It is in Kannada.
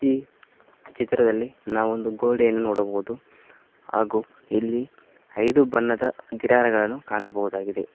ಈ ಚಿತ್ರದಲ್ಲಿ ನಾವೊಂದು ಗೋಡೆಯನ್ನು ನೋಡಬಹುದು ಹಾಗು ಇಲ್ಲಿ ಐದು ಬಣ್ಣದ ಗುಟ್ಟರ್ ಗಳನ್ನು ಕಾಣಬಹುದಾಗಿದೆ.